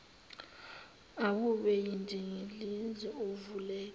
awube yindilinga uvulekile